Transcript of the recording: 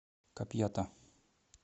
капьята